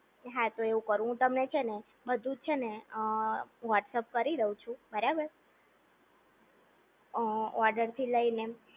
હા તો એવું કરું હું તમને છે ને બધુંજ છેને હું વૉટ્સઅપ કરી દવ છું બરાબર અ ઓર્ડર થી લઈને